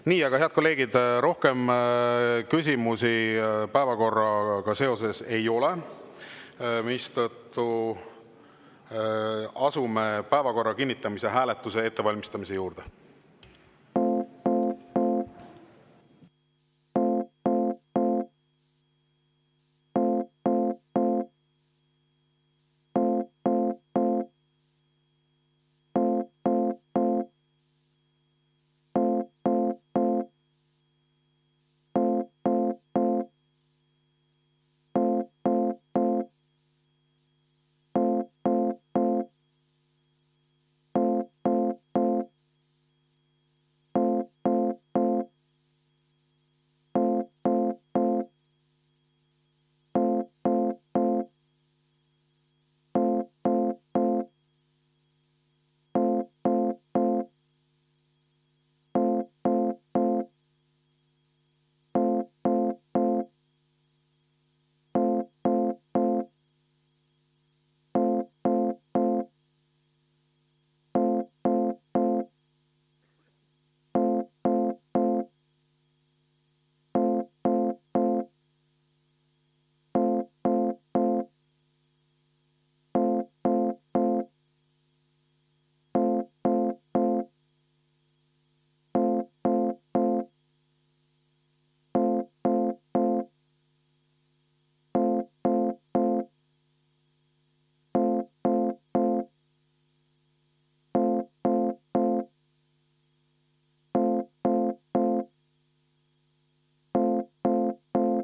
Nii, aga head kolleegid, rohkem küsimusi seoses päevakorraga ei ole, mistõttu asume päevakorra kinnitamise hääletuse ettevalmistamise juurde.